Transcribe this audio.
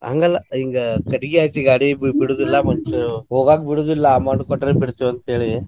ಹಂಗಲ್ಲಾ ಈಗ ಕಟ್ಟಿಗಿ ಹಚ್ಚಿ ಗಾಡಿದು ಬಿಡುದಿಲ್ಲಾ, ಹೋಗಾಕ್ ಬಿಡುದಿಲ್ಲಾ amount ಕೊಟ್ರ್ ಬಿಡ್ತೇವಿ ಅಂತ್ ಹೇಳಿ.